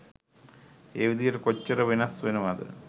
ඒ විදිහට කොච්චර වෙනස් වෙනවද?